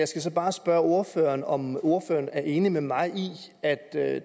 så bare spørge ordføreren om ordføreren er enig med mig i at at